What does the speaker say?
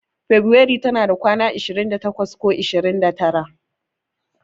Febirairu tana da kwana ashirin da takwas ko ashirin da tara.